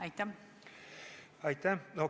Aitäh!